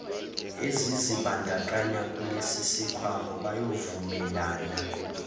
ezizibandakanya kulesisikhwama bayovumelana